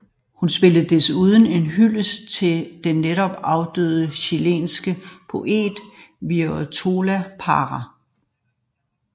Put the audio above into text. Hun indspillede desuden en hyldest til den netop afdøde chilenske poet Violeta Parra